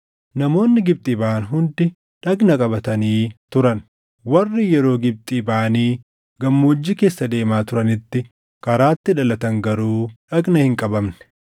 Namoonni Gibxii baʼan hundi dhagna qabatanii turan; warri yeroo Gibxii baʼanii gammoojjii keessa deemaa turanitti karaatti dhalatan garuu dhagna hin qabamne.